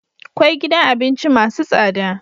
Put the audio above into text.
Kkwai gidan abinci masu tsada